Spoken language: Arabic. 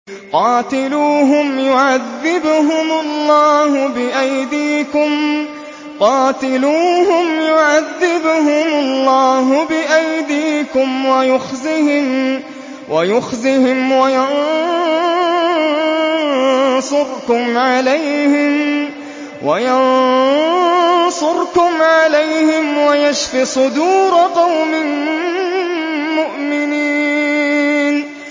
قَاتِلُوهُمْ يُعَذِّبْهُمُ اللَّهُ بِأَيْدِيكُمْ وَيُخْزِهِمْ وَيَنصُرْكُمْ عَلَيْهِمْ وَيَشْفِ صُدُورَ قَوْمٍ مُّؤْمِنِينَ